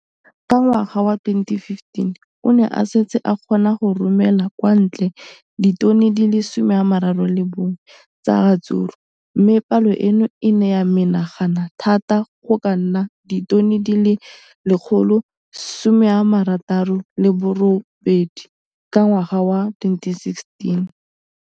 Ka ngwaga wa 2015, o ne a setse a kgona go romela kwa ntle ditone di le 31 tsa ratsuru mme palo eno e ne ya menagana thata go ka nna ditone di le 168 ka ngwaga wa 2016.